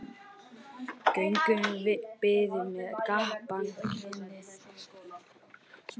Göngin biðu með gapandi ginið.